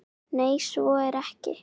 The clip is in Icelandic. Nei, svo er ekki.